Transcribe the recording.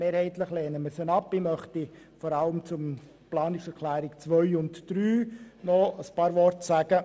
Ich möchte nun vor allem zu den Planungserklärungen 2 und 3 ein paar Worte sagen.